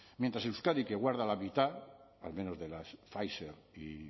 mientras euskadi que guarda la mitad al menos de las pfizer y